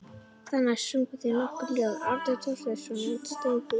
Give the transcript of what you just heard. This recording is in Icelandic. Þar næst sungu þeir nokkur lög, Árni Thorsteinsson og Steingrímur